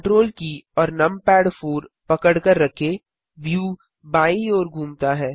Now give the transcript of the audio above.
Ctrl की और numpad 4पकड़कर रखें व्यू बायीं ओर घूमता है